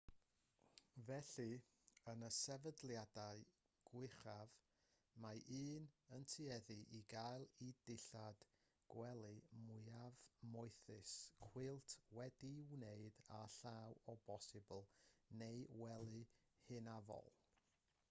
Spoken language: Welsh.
felly yn y sefydliadau gwychaf mae un yn tueddu i gael y dillad gwely mwyaf moethus cwilt wedi'i wneud a llaw o bosibl neu wely hynafol